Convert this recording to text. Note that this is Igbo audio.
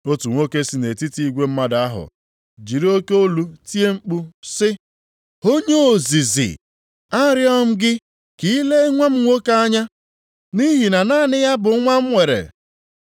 Otu nwoke si nʼetiti igwe mmadụ ahụ jiri oke olu tie mkpu sị, “Onye ozizi, arịọ m gị ka i lee nwa m nwoke anya, nʼihi na naanị ya bụ nwa m nwere.